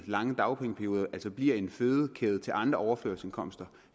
lange dagpengeperiode bliver en fødekæde til andre overførselsindkomster